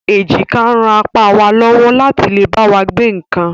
Èjìká ń ràn apá wá lọ́wọ́ láti lè bá wa gbé nǹkan